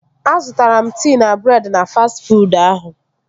Azụtara m tii na breedị na fastị fuud ahụ